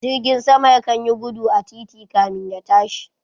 Jirgin sama ya kan yi gudu a titi kamin ya tashi